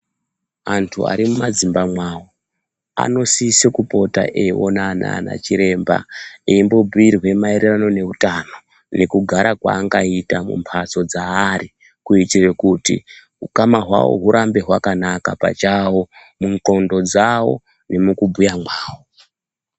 Antu ari mumadzimba mwavo anosise kupota eiona anaana chiremba eimbo bhuyirwe maererano neutano nekugara kwaangaita mumbatso dzaari kuitire kuti ukama hawo urambe wakanaka pachawo, mundxondo dzawo nemukubhuya mwavo.